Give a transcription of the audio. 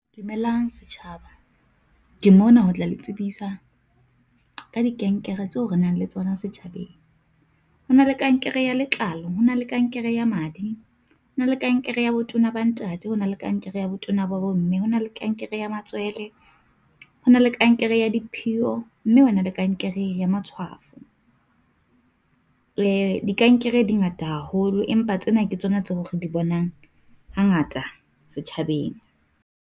Dumelang setjhaba, ke mona ho tla le tsebisa ka dikankere tseo re nang le tsona setjhabeng. Ho na le kankere ya letlalo, ho na le kankere ya madi, ho na le kankere ya botona ba ntate. Ho na le kankere ya botona ba bomme, ho na le kankere ya matswele. Ho na le kankere ya diphiyo, mme ho na le kankere ya matshwafo, dikankere di ngata haholo, empa tsena ke tsona tseo re di bonang hangata setjhabeng.